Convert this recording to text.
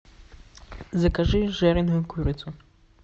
закажи жареную курицу